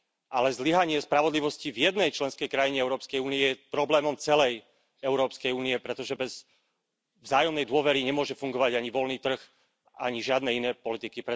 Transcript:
Ale zlyhanie spravodlivosti v jednej členskej krajine Európskej únie je problémom celej Európskej únie, pretože bez vzájomnej dôvery nemôže fungovať ani voľný trh, ani žiadne iné politiky.